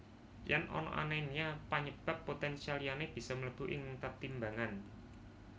Yen ana anemia panyebab potensial liyane bisa mlebu ing tetimbangan